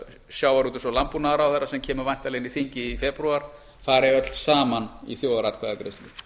sjávarútvegs og landbúnaðarráðherra sem kemur væntanlega inn í þingið í febrúar fari öll saman í þjóðaratkvæðagreiðslu